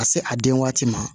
Ka se a den waati ma